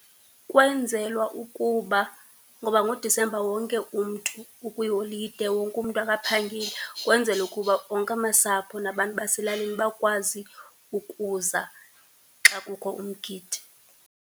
Kwenzelwa ukuba ngoba ngoDisemba wonke umntu ukwiholide, wonke umntu akaphangeli. Kwenzelwa ukuba onke amasapho nabantu baselalini bakwazi ukuza xa kukho umgidi.